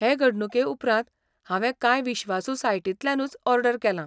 हे घडणुके उपरांत हांवे कांय विश्वासू सायटींतल्यानूच ऑर्डर केलां.